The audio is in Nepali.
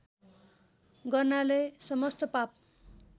गर्नाले समस्त पाप